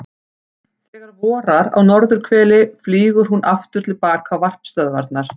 Þegar vorar á norðurhveli flýgur hún aftur til baka á varpstöðvarnar.